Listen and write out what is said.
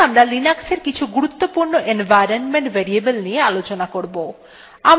এখন আমরা linux কিছু গুরুত্বপূর্ণ environment variable নিয়ে আলোচনা করব